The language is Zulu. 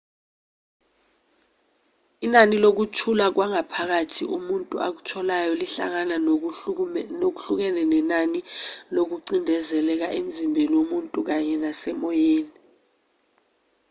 inani lokuthula kwangaphakathi umuntu akutholayo lihlangana ngokuhlukene nenani lokucindezeleka emzimbeni womuntu kanye nasemoyeni